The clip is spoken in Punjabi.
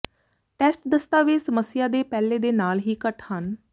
ਟੈਸਟ ਦਸਤਾਵੇਜ਼ ਸਮੱਸਿਆ ਦੇ ਪਹਿਲੇ ਦੇ ਨਾਲ ਹੀ ਘੱਟ ਹਨ